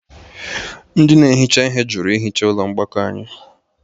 Ndị na-ehicha ihe jụrụ ihicha ụlọ mgbakọ anyị